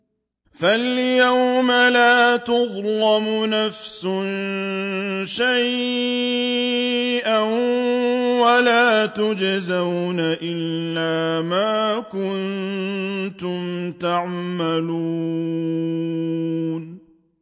فَالْيَوْمَ لَا تُظْلَمُ نَفْسٌ شَيْئًا وَلَا تُجْزَوْنَ إِلَّا مَا كُنتُمْ تَعْمَلُونَ